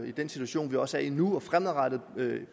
i den situation vi også er i nu og fremadrettet med